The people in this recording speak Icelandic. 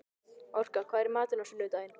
Orka, hvað er í matinn á sunnudaginn?